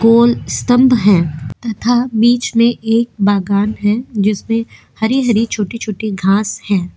गोल स्तंभ हैं तथा बीच में एक बगान है। जिसपे हरी-हरी छोटी-छोटी घास हैं।